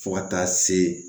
Fo ka taa se